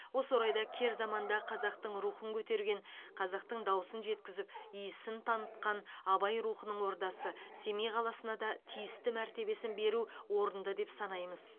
осы орайда кер заманда қазақтың рухын көтерген қазақтың дауысын жеткізіп иісін танытқан абай рухының ордасы семей қаласына да тиісті мәртебесін беру орынды деп санаймыз